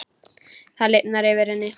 Það lifnar yfir henni.